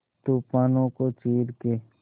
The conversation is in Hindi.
तूफानों को चीर के